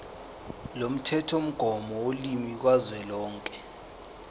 lomthethomgomo wolimi kazwelonke